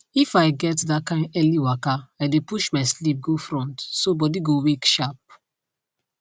if i get that kain early waka i dey push my sleep go front so body go wake sharp